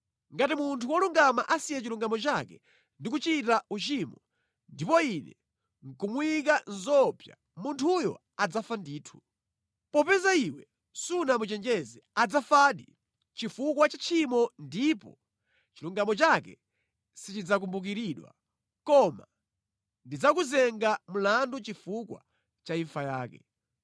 “Ngati munthu wolungama asiya chilungamo chake ndi kuchita uchimo ndipo Ine nʼkumuyika mʼzoopsa, munthuyo adzafa ndithu. Popeza iwe sunamuchenjeze, adzafadi chifukwa cha tchimo ndipo chilungamo chake sichidzakumbukiridwa, koma ndidzakuyimba mlandu chifukwa cha imfa yake.